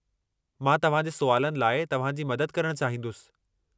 मां तव्हां जे सुवालनि लाइ तव्हां जी मदद करणु चाहींदुसि।